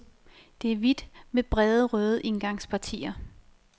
Det er hvidt med brede, røde indgangspartier.